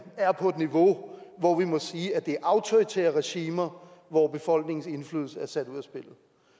er på et niveau hvor vi må sige at det er autoritære regimer hvor befolkningens indflydelse er sat ud af spillet